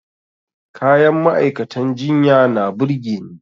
Kayan ma'aikatan jinya na burge ni.